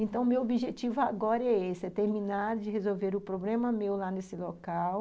Então, o meu objetivo agora é esse, é terminar de resolver o problema meu lá nesse local